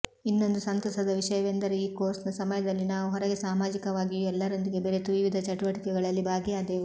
ಇನ್ನೊಂದು ಸಂತಸದ ವಿಷಯವೆಂದರೆ ಈ ಕೋರ್ಸ್ನ ಸಮಯದಲ್ಲಿ ನಾವು ಹೊರಗೆ ಸಾಮಾಜಿಕವಾಗಿಯೂ ಎಲ್ಲರೊಂದಿಗೆ ಬೆರೆತು ವಿವಿಧ ಚಟುವಟಿಕೆಗಳಲ್ಲಿ ಭಾಗಿಯಾದೆವು